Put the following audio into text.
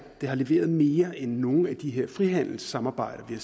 det har leveret mere end nogen af de her frihandelssamarbejder vi har